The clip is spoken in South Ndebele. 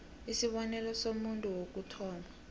isibonelo somuntu wokuthoma